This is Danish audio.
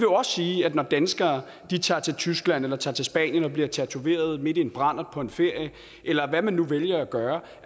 også sige at når danskere tager til tyskland eller tager til spanien og bliver tatoveret midt i en brandert på en ferie eller hvad man nu vælger at gøre